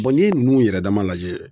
n'i ye ninnu yɛrɛ dama lajɛ